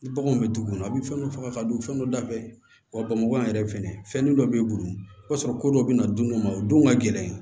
Ni baganw bɛ dugu kɔnɔ a bɛ fɛn dɔ faga ka don fɛn dɔ da fɛ wa bamakɔ yan fɛnɛ fɛnnen dɔ b'e bolo i b'a sɔrɔ ko dɔ bɛna dun dɔ ma o don ka gɛlɛn